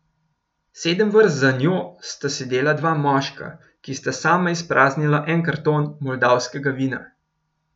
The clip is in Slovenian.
Sedem vrst za njo sta sedela dva moška, ki sta sama izpraznila en karton moldavskega vina.